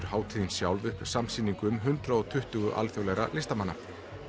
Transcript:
hátíðin sjálf upp samsýningu hundrað og tuttugu alþjóðlegra listamanna